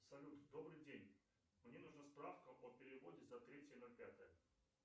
салют добрый день мне нужна справка о переводе за третье ноль пятое